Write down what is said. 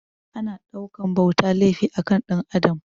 Ana ɗaukan bauta laifi a kan Ɗan Adam